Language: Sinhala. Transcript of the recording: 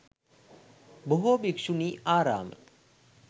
බොහෝ භික්ෂුණි ආරාම